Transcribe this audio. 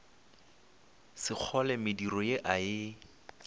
sekgole mediro ye a e